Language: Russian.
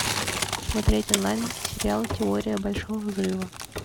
смотреть онлайн сериал теория большого взрыва